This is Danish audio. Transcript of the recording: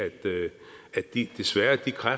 vi